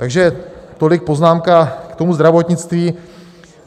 Takže tolik poznámka k tomu zdravotnictví.